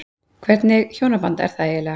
Hvernig hjónaband er það eiginlega?